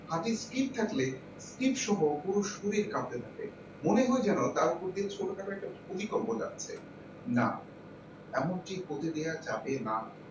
হাতে skrip থাকলে skrip সহ পুরো শরীর কাঁপতে থাকে মনে হয় যেন তার প্রতি ছোটখাটো একটা ভূমিকম্প যাচ্ছে না এমন টি হতে দেওয়া যাবে না।